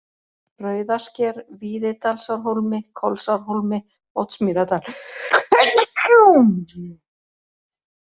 Rauðasker, Víðidalsárhólmi, Kolsárhólmi, Oddsmýrardalur